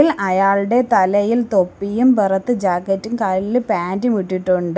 അയാളുടെ തലയിൽ തൊപ്പിയും പുറത്ത് ജാക്കറ്റും കാലില് പാൻ്റും ഇട്ടിട്ടുണ്ട്.